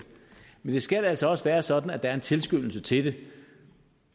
men det skal altså også være sådan at der er en tilskyndelse til